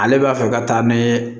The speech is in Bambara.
Ale b'a fɛ ka taa ni